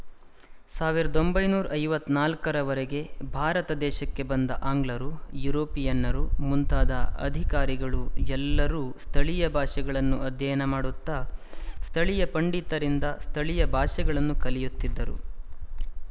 ಸಾವಿರದ ಒಂಬೈನೂರ ಐವತ್ತ್ ನಾಲ್ಕರವರೆಗೆ ಭಾರತದೇಶಕ್ಕೆ ಬಂದ ಆಂಗ್ಲರು ಯುರೋಪಿಯನ್ನರು ಮುಂತಾದ ಅಧಿಕಾರಿಗಳು ಎಲ್ಲರೂ ಸ್ಥಳೀಯ ಭಾಷೆಗಳನ್ನು ಅಧ್ಯಯನ ಮಾಡುತ್ತಾ ಸ್ಥಳೀಯ ಪಂಡಿತರಿಂದ ಸ್ಥಳೀಯ ಭಾಷೆಗಳನ್ನು ಕಲಿಯುತ್ತಿದ್ದರು